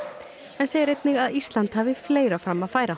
en segir einnig að Ísland hafi fleira fram að færa